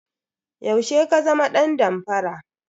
Yaushe ka zama dan damfara?